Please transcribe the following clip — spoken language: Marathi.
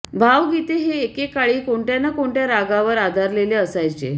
भावगीत हे एके काळी कोणत्या न कोणत्या रागावर आधारलेले असायचे